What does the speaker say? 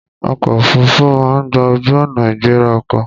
Ọkọ̀ òfuruufú máa ń gba ojú-ọ̀nà ìgbéra ọkọ̀.